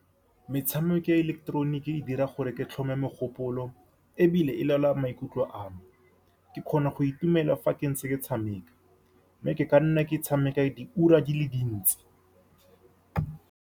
Metshameko ya ileketeroniki e dira gore ke tlhome mogopolo, ebile e laola maikutlo a me. Ke kgona go itumela fa ke ntse ke tshameka, mme ke ka nna ke tshameka diura di le dintsi.